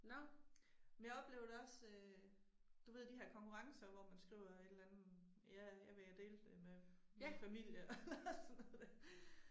Nå, men jeg oplever det også øh du ved de her konkurrencer hvor man skriver et eller andet ja jeg vil dele det med min familie eller sådan noget der